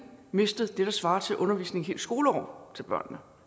mistet det der svarer til undervisning helt skoleår til børnene